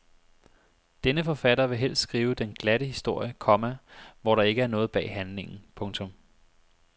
Denne forfatter vil helst skrive den glatte historie, komma hvor der ikke er noget bag handlingen. punktum